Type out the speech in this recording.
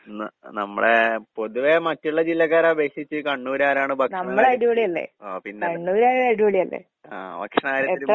ന് നമ്മടെ പൊതുവെ മറ്റ്ള്ള ജില്ലക്കാരെ അപേക്ഷിച്ച് കണ്ണൂര്കാരാണ് ഭക്ഷണം ഓ പിന്നെ ആഹ് ഭക്ഷണ കാര്യത്തിലും